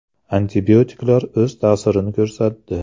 Antibiotiklar o‘z ta’sirini ko‘rsatdi.